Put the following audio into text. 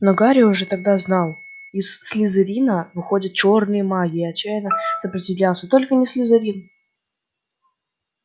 но гарри уже тогда знал из слизерина выходят чёрные маги и отчаянно сопротивлялся только не слизерин